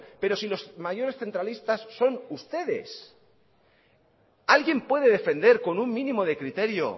pero si los mayores centralistas son ustedes alguien puede defender con un mínimo de criterio